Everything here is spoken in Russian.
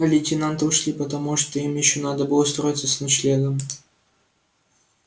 а лейтенанты ушли потому что им ещё надо было устроиться с ночлегом